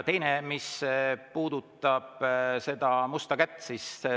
Teine, mis puudutab seda musta kätt.